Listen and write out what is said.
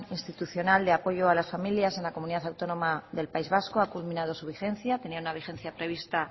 institucional de apoyo a las familias en la comunidad autónoma del país vasco ha culminado su vigencia tenía una vigencia prevista